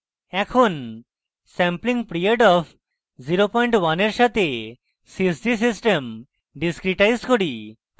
এখন sampling period of 01 এর সাথে sys g system discretize করি